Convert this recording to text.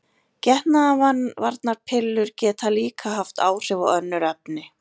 Getnaðarvarnarpillur geta líka haft áhrif á önnur efni.